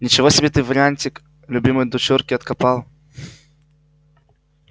ничего себе ты вариантик любимой дочурке откопал